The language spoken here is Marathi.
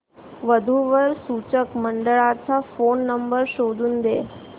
वधू वर सूचक मंडळाचा फोन नंबर शोधून दे